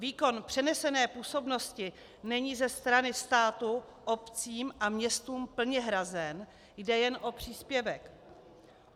Výkon přenesené působnosti není ze strany státu obcím a městům plně hrazen, jde jen o příspěvek.